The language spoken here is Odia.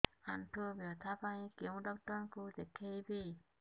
ଆଣ୍ଠୁ ବ୍ୟଥା ପାଇଁ କୋଉ ଡକ୍ଟର ଙ୍କୁ ଦେଖେଇବି